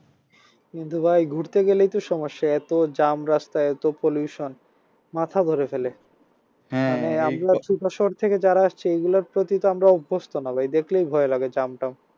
কিন্তু ভাই ঘুরতে গেলেই তো সমস্যা এত jam রাস্তায় এত pollution মাথা ধরে ফেলে থেকে যারা আসছে এইগুলার প্রতি তো আমরা অভ্যস্ত না ভাই দেখলেই ভয় লাগে jam টাম